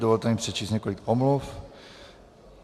Dovolte mi přečíst několik omluv.